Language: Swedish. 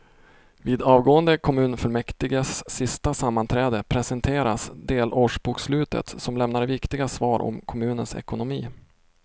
Vid avgående kommunfullmäktiges sista sammanträde presenteras delårsbokslutet som lämnar viktiga svar om kommunens ekonomi.